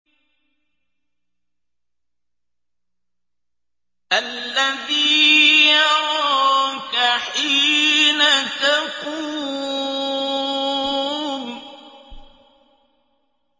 الَّذِي يَرَاكَ حِينَ تَقُومُ